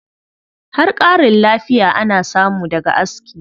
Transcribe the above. Har ƙarin lafiya ana samu daga aski.